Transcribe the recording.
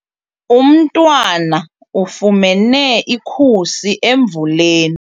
Umntwana ufumene ikhusi emvuleni.